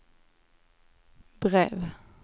brev